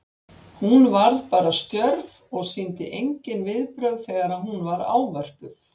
Hún varð bara stjörf og sýndi engin viðbrögð þegar hún var ávörpuð.